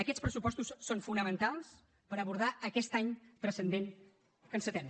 aquests pressupostos són fonamentals per abordar aquest any transcendent que encetem